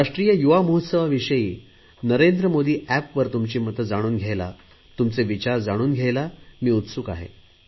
राष्ट्रीय युवा महोत्सवाविषयी नरेंद्र मोदी एप वरुन तुमची मते जाणून घ्यायला तुमचे विचार जाणून घ्यायला मी उत्सुक आहे